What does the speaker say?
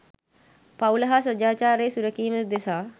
පවුල හා සදාචාරය සුරැකීම උදෙසා